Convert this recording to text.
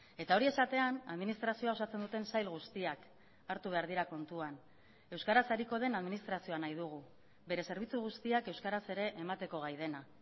eta hori esatean administrazioa osatzen duten sail guztiak hartu behar dira kontuan euskaraz ariko den administrazioa nahi dugu bere zerbitzu guztiak euskaraz ere emateko gai dena